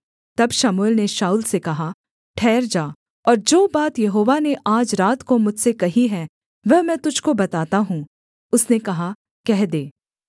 तब शमूएल ने शाऊल से कहा ठहर जा और जो बात यहोवा ने आज रात को मुझसे कही है वह मैं तुझको बताता हूँ उसने कहा कह दे